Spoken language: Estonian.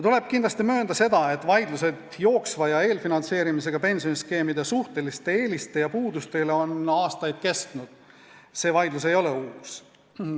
Tuleb kindlasti möönda, et vaidlused jooksva ja eelfinantseerimisega pensioniskeemide suhteliste eeliste ja puuduste üle on kestnud aastaid, see vaidlus ei ole uus.